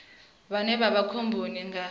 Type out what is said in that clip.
vhane vha vha khomboni nga